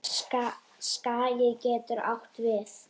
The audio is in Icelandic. Skagi getur átt við